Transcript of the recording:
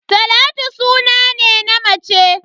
Talatu suna ne na ya mace.